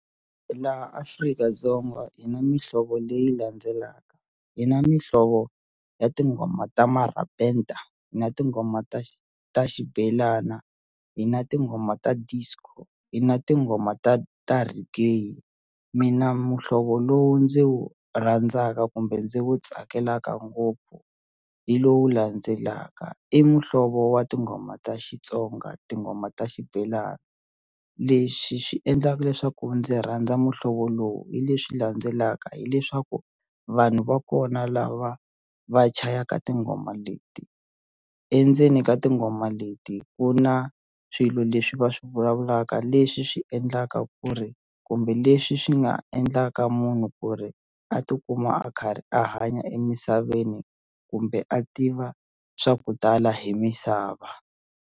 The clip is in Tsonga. Laha Afrika-Dzonga hi na mihlovo leyi landzelaka hi na mihlovo ya tinghoma ta marabenda na tinghoma ta xibelana hi na tinghoma ta disco hi na tinghoma ta ta reggae mina muhlovo lowu ndzi wu rhandzaka kumbe ndzi wu tsakelaka ngopfu hi lowu landzelaka i muhlovo wa tinghoma ta Xitsonga tinghoma ta xibelani leswi swi endlaka leswaku ndzi rhandza muhlovo lowu hi leswi landzelaka hileswaku vanhu va kona lava va chayaka tinghoma leti endzeni ka tinghoma leti ku na swilo leswi va swi vulavulaka leswi swi endlaka ku ri kumbe leswi swi nga endlaka munhu ku ri a tikuma a karhi a hanya emisaveni kumbe a tiva swa ku tala hi misava.